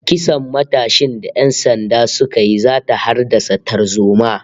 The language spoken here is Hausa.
Kisan matashin da ƴan sanda suka yi zata haddasa tarzoma